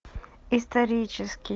исторический